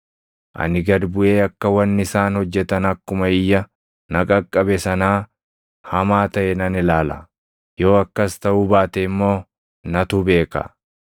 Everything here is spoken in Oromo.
ani gad buʼee akka wanni isaan hojjetan akkuma iyya na qaqqabe sanaa hamaa taʼe nan ilaala. Yoo akkas taʼuu baate immoo natu beeka.”